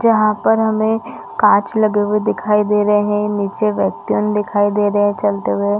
जहाँ पर हमें कांच लगे हुए दिखाई दे रहे है नीचे व्यक्तिन दिखाई दे रहे है चलते हुए --